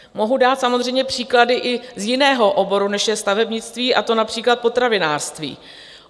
Mohu dát samozřejmě příklady i z jiného oboru, než je stavebnictví, a to například potravinářství.